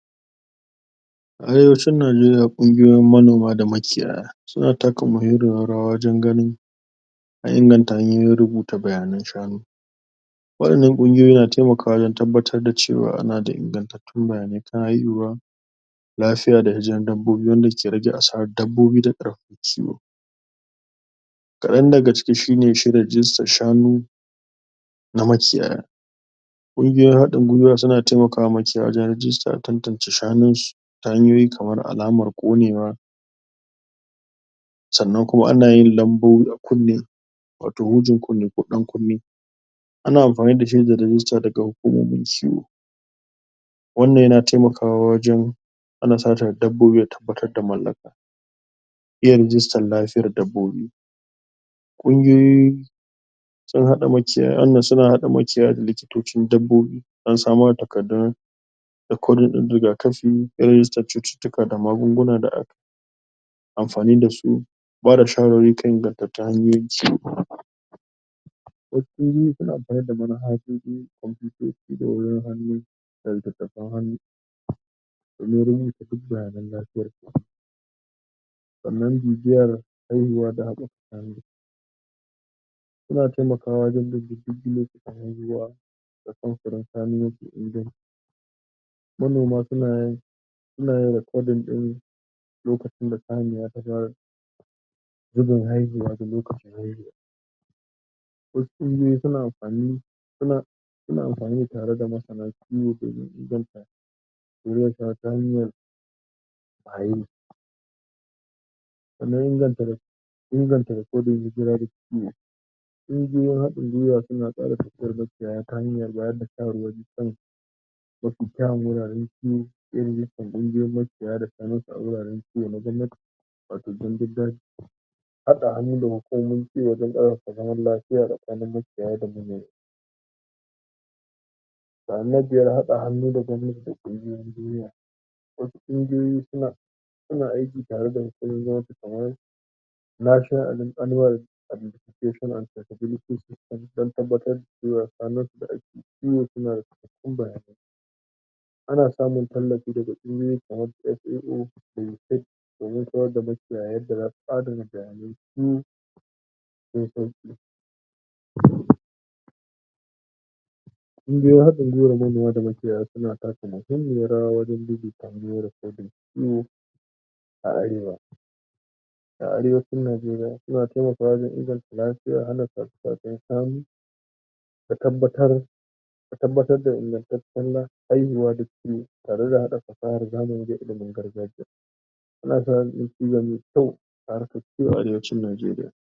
A arewacin Najeriya kungiyoyin manoma da makiyaya suna taka mahimmiyar rawa wajen ganin inganta hanyoyin rubuta bayanan shanu. Wa’yan nan kungiyoyi na taimakawa wajen tabbatar da cewa ana da ingantattun bayanai da kuma iya yuwuwa lafiya da yawan dabbobi wanda ke rage asarar dabbobi da ƙarfin su. Ƙadan daga cikin shi ne shirin jinsin shanu na makiyaya. Kungiyoyin haɗin gwiwa suna taimakawa makiyaya wajen rijista don a tantance ta hanyoyin alamar konewa sannan kuma ana yin alambobi a kunne wato hujin kunne ko dankunne. Ana amfani da shedar rijista daga hukumomin kiwon lafiya na dabbobi. Wannan yana taimakawa wajen hana satan dabbobi da tabbatar da mallaka. Irin rijistar lafiyar dabbobi kungiyoyi suna haɗa makiyaya da likitocin dabbobi domin samar da takardun rakodin rigakafi, kiyace cututtuka da magunguna, amfani da su, da bada shawarwari kan ingantattu. Kungiyoyin suna tare da manhajoji, da computers, da wayoyin hannu, da littattafan hannu domin neman bayanan lafiyar dabbobinsu sannan bibiyar haihuwa da adadin su. Wannan yana taimakawa wajen bin diddigin waɗanda suka haihu da tsarin samfiri. Samar da inganci manoma suna rubuta lokacin da saniya ta fara zubin haihuwa da lokacin haihuwa. Wasu kungiyoyi suna amfani suna tare da masana kiwo domin su zanta wanda zai sa saniyar haye. Sannan inganta rakodin hijira da kiwo. Kungiyoyin haɗin gwiwa suna ƙara kusantar makiyaya ta hanyar bada shawarwari da kyawawan wuraren kiwo. Kungiyoyin makiyaya suna samar da wuraren kiwo na gwamnati wato gandun daji. Haka an yi ne domin wajan kiwo da zaman lafiya tsakanin makiyaya da manoma. Ana haɗa hannu da gwamnati da kungiyoyin duniya. Wasu kungiyoyi suna aiki tare da hukumomin National Animal Ability sosai domin tabbatar da cewa shanun su suna da cikakken lafiya kuma suna da cikakkaun bayanai. Ana samun tallafi daga kungiyoyi kamar su FAO, UNICEF domin koyar da makiyaya yadda za su adana bayanansu cikin sauƙi. Kungiyoyin haɗin gwiwa na manoma da makiyaya suna taka mahimmiyar rawa wajen aikin rakodi da kiwo a Arewa. A arewacin Najeriya suna taimakawa wajen inganta lafiya, hana sace-sacen shanu, da tabbatar da ingantaccen haihuwa. Tarayyar haɗa fasahar ilimin zamani da ta gargajiya tana kawo ci gaba mai kyau a harkar kiwo a arewacin Najeriya.